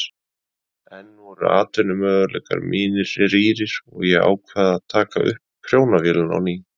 Enn voru atvinnumöguleikar mínir rýrir og ég ákvað að taka upp prjónavélina á ný.